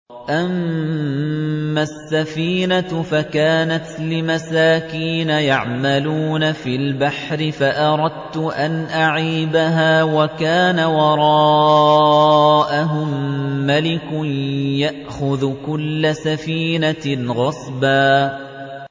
أَمَّا السَّفِينَةُ فَكَانَتْ لِمَسَاكِينَ يَعْمَلُونَ فِي الْبَحْرِ فَأَرَدتُّ أَنْ أَعِيبَهَا وَكَانَ وَرَاءَهُم مَّلِكٌ يَأْخُذُ كُلَّ سَفِينَةٍ غَصْبًا